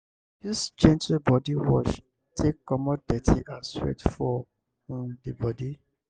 use gentle body wash take comot dirty and sweat for um di body